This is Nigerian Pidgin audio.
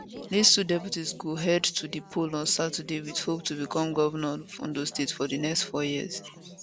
dis two deputies go head to di poll on saturday wit hope to become govnor of ondo state for di next four years